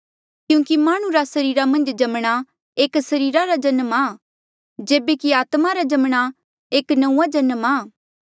क्यूंकि माह्णुं रा सरीरा मन्झ जम्मणा एक सरीरा रा जन्म आ जेबे कि आत्मा रा जम्मणा एक नंऊँआं जन्म आ